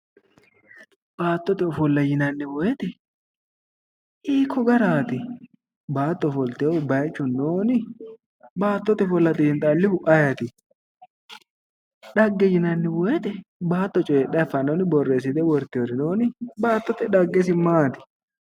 Baattote ofollanna yinanni weete hiiko garaati baatto ofoliteehu bayichu noonni xiinxxallihu ayiti dhagge yinanni weete baatto coyidhanonni boreesidheeri noonni